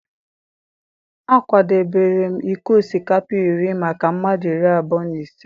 a kwadebere m iko osikapa iri maka mmadụ iri abụọ na ise.